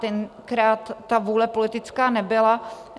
Tenkrát ta vůle politická nebyla.